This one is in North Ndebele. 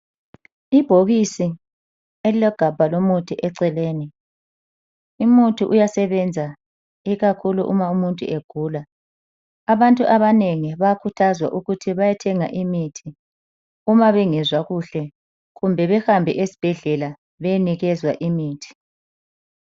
Ibhokisi elilegabha lomuthi eceleni, umuthi uyasebenza ikakhulu uma umuntu egula. Abantu abanengi bayakhuthazwa ukuba bayethenga imithi uma bengezwa kuhle kumbe behambe esibhedlela beyenikezwa imithi.